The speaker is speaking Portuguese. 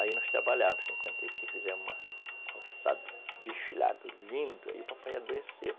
Aí nós trabalhávamos fizeram um roçado, desfilado lindo, aí o papai adoeceu.